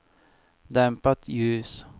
dämpat ljus